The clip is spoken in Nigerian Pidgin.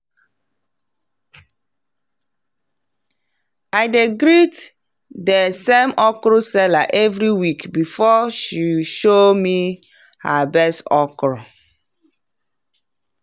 i dey greet the same okra seller every week before she show me her best okra.